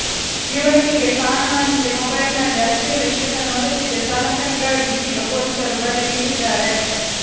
ಯುವತಿಗೆ ಕಾಣುವಂತೆ ಮೊಬೈಲ್ ನಲ್ಲಿ ಅಶ್ಲೀಲ ಚಿತ್ರ ನೋಡುತ್ತಿದ್ದ ಚಾಲಕನಿಗಾಗಿ ಇದೀಗ ಪೊಲೀಸರು ಬಲೆ ಬೀಸಿದ್ದಾರೆ